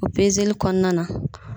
O li kɔɔna na